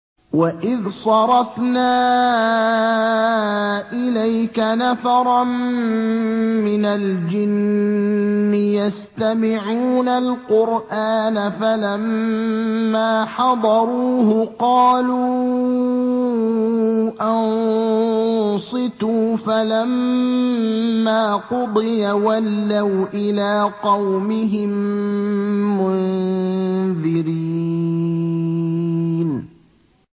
وَإِذْ صَرَفْنَا إِلَيْكَ نَفَرًا مِّنَ الْجِنِّ يَسْتَمِعُونَ الْقُرْآنَ فَلَمَّا حَضَرُوهُ قَالُوا أَنصِتُوا ۖ فَلَمَّا قُضِيَ وَلَّوْا إِلَىٰ قَوْمِهِم مُّنذِرِينَ